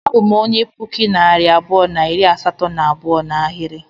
Abu m onye nke puku na narị abụọ na iri asatọ na abụọ n'ahiri